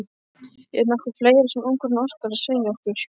Er nokkuð fleira sem ungfrúin óskar að segja okkur?